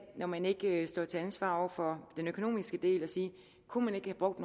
når man ikke står til ansvar for den økonomiske del at sige kunne man ikke have brugt